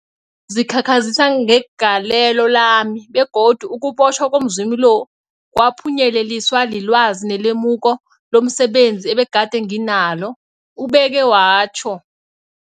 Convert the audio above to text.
zikhakhazisa ngegalelo lami, begodu ukubotjhwa komzumi lo kwaphunyeleliswa lilwazi nelemuko lomse benzi ebegade nginalo, ubeke watjho.